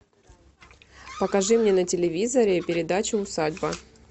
покажи мне на телевизоре передачу усадьба